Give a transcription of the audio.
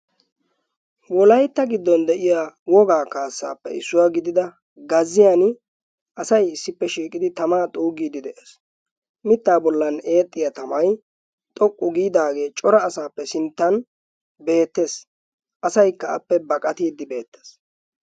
wolaytta giddon de'iyaa wogaa kaassappe issuwa gidida gazziyan asay issippe shiiqidi tamaa xuugide de'ees. mittaa bollan eexxiya tamay xoqqu giidaage cora asappe sinttan beettes. asaykka appe baqattiide beettees.